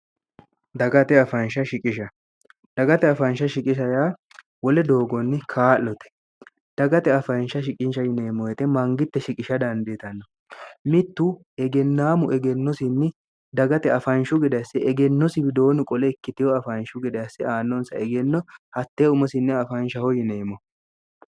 dagate faansh shiqisha dagate afaansha shiqishayaa wole doogonni kaa'lote dagate afaansha shiqinsha yineemmoyete mangitte shiqisha dandiitanno mittu egennaamu egennosinni dagate afaanshu gede asse egennosi widoonnu qole ikkiteho afaanshu gedeasse aannonsa egenno hattee umosinni afaanshaho yineemmo